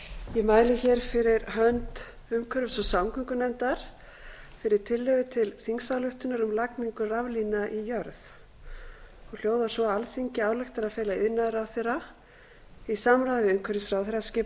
mæli hér fyrir hönd umhverfis og samgöngunefndar fyrir tillögu til þingsályktunar um lagningu raflína í jörð og hljóðar svo alþingi ályktar að fela iðnaðarráðherra í samráði við umhverfisráðherra skipa